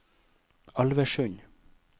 Alversund